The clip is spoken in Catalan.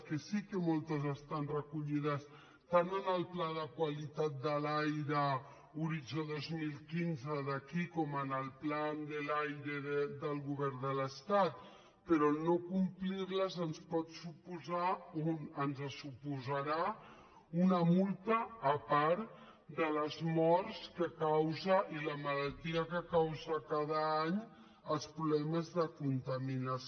que sí que moltes estan recollides tant en el pla de qualitat de l’aire horitzó dos mil quinze d’aquí com en el plan del aire del govern de l’estat però no complir les ens pot suposar ens suposarà una multa a part de les morts que causa i la malaltia que causa cada any els problemes de contaminació